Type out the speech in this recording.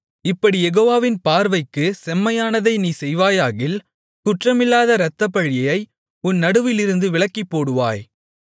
இப்படிக் யெகோவாவின் பார்வைக்குச் செம்மையானதை நீ செய்வாயாகில் குற்றமில்லாத இரத்தப்பழியை உன் நடுவிலிருந்து விலக்கிப்போடுவாய்